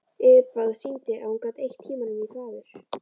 Yfirbragðið sýndi að hún gat eytt tímanum í þvaður.